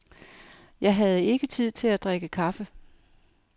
Jeg havde ikke tid til at drikke kaffe.